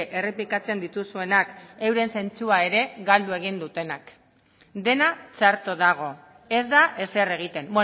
errepikatzen dituzuenak euren zentzua ere galdu egin dutenak dena txarto dago ez da ezer egiten